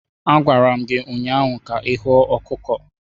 A gwara m gi ụnyahụ ka ihuo ọkụkọ.